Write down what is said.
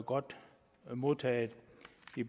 godt modtaget